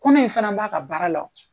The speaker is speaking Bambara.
Kɔnɔ in fana b'a ka baara la o.